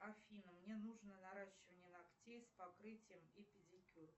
афина мне нужно наращивание ногтей с покрытием и педикюр